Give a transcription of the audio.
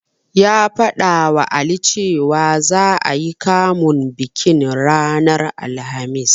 Ya faɗawa Ali cewa, za'a yi kamun bikin ranar Alhamis.